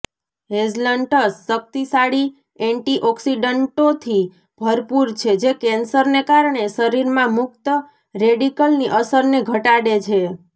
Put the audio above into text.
hazelnuts શક્તિશાળી એન્ટીઑકિસડન્ટોથી ભરપૂર છે જે કેન્સરને કારણે શરીરમાં મુક્ત રેડિકલની અસરને ઘટાડે છે